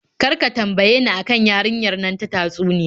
Kar ka tambaye ni a kan yarinyar nan ta tatsuniya.